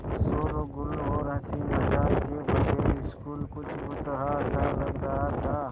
शोरोगुल और हँसी मज़ाक के बगैर स्कूल कुछ भुतहा सा लग रहा था